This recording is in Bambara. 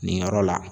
Nin yɔrɔ la